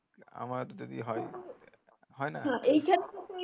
আমার যদি হয় হয়না